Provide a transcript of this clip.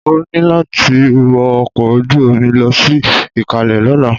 O ní láti wọ ọkọ̀ ojú-omi lọ sí Ìkalẹ́ lọ́la!